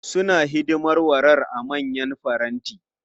Suna hidimar warar a manyan faranti.